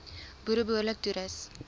boere behoorlik toerus